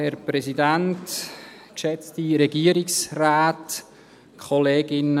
Herr Alberucci, Sie haben das Wort.